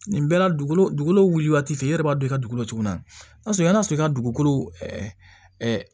Nin bɛɛ la dugukolo dugukolo wuli waati fɛ e yɛrɛ b'a don i ka dugukolo tuguni n'a sɔrɔ i n'a sɔrɔ i ka dugukolo ɛ